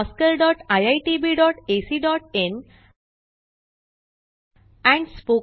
oscariitbacइन and spoken tutorialorgnmeict intro